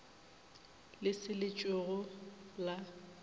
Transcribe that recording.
le se le tšhwego la